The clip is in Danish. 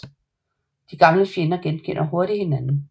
De gamle fjender genkender hurtigt hinanden